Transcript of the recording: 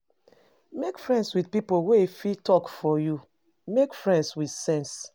Make friends with pipo wey fit talk for you, make friends with sense